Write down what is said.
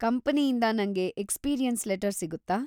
ಕಂಪನಿಯಿಂದ ನಂಗೆ experience letter ಸಿಗುತ್ತಾ?